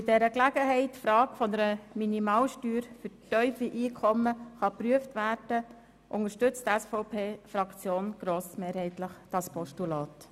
Weil bei dieser Gelegenheit die Frage einer Minimalsteuer für tiefe Einkommen geprüft werden kann, unterstützt die SVP-Fraktion grossmehrheitlich das Postulat.